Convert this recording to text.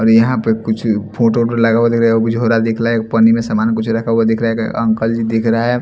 और यहां पर कुछ फोटो लगा हुआ दिख रहा है झोरा दिख रहा है पानी में सामान कुछ रखा हुआ दिख रहा है अंकल जी दिख रहा है।